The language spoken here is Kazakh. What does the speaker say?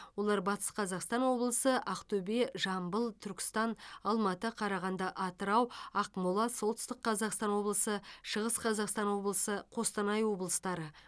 олар батыс қазақстан облысы ақтөбе жамбыл түркістан алматы қарағанды атырау ақмола солтүстік қазақастан облысы шығыс қазақстан облысы қостанай облыстары